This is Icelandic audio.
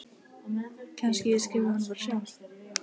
Kannski ég skrifi honum bara sjálf.